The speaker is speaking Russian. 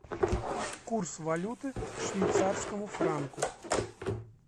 курс валюты к швейцарскому франку